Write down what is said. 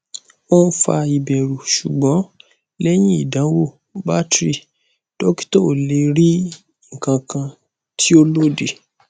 o n fa iberu sugbon lehin idanwo battery dokita o le ri ikankan ti o lodi